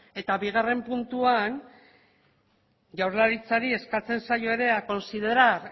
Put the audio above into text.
bigarren puntuan jaurlaritzari eskatzen zaio ere a considerar